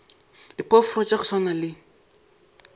diphoofolo tša go swana le